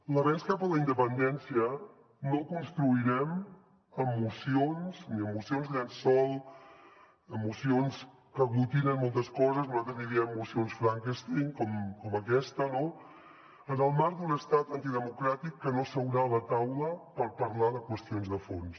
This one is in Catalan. l’avenç cap a la independència no el construirem amb mocions ni amb mocions llençol amb mocions que aglutinen moltes coses nosaltres n’hi diem mocions frankenstein com aquesta no en el marc d’un estat antidemocràtic que no seurà a la taula per parlar de qüestions de fons